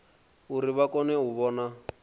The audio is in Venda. uri vha kone u vhona